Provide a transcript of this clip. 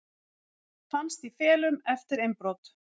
Fannst í felum eftir innbrot